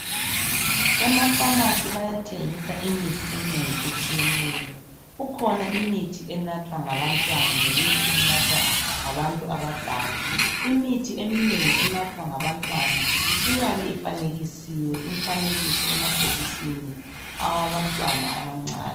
Emapharmacy bayathengisa imithi eminengi etshiyeneyo. Kukhona imithi enathwa ngabantwana lemithi enathwa ngabantu abadala. Imithi eminengi enathwa ngabantwana iyabe ifanekisiwe imifanekiso emabhokisini awabantwana abancane.